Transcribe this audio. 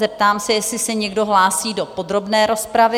Zeptám se, jestli se někdo hlásí do podrobné rozpravy?